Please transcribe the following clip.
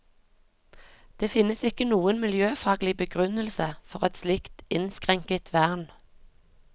Det finnes ikke noen miljøfaglig begrunnelse for et slikt innskrenket vern.